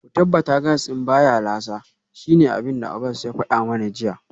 Ku tabbata gas din baya lasa, shine abinda Abbas ya fada mana jiya